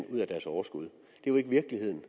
ud af overskuddet det er ikke virkeligheden